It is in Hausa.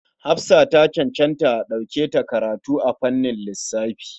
Hafsa ta cancanci a ɗauke ta karatu a fannin lissafi.